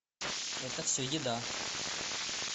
это все еда